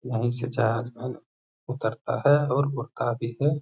वही से जहाज वन उतरता है और उड़ता भी है।